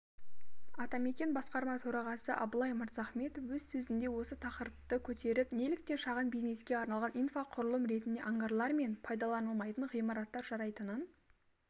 атамекен басқарма төрағасы абылай мырзахметов өз сөзінде осы тақырыпты көтеріп неліктен шағын бизнеске арналған инфрақұрылым ретінде ангарлар мен пайдаланылмайтын ғимараттар жарайтынын